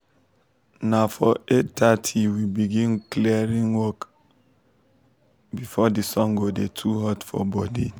na for eight thirty we go begin clearing work before the sun go dey too hot for body